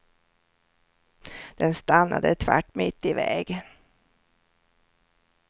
Den stannade tvärt mitt i vägen.